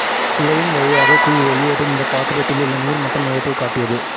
துளையின் வழியாக கீழ் வெளியேறும் இந்த பாத்திரத்திலுள்ள நீா்மட்டம் நேரத்தை காட்டியது